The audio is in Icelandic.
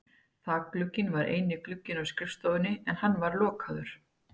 Þakglugginn var eini glugginn á skrifstofunni en hann var lokaður.